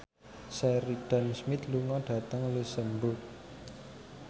Sheridan Smith lunga dhateng luxemburg